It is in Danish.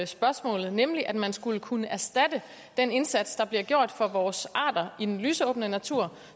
spørgsmålet nemlig at man skulle kunne erstatte den indsats der bliver gjort for vores arter i den lysåbne natur